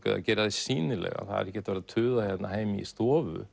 eða gera þig sýnilegan það er ekki hægt að vera að tuða hérna heima í stofu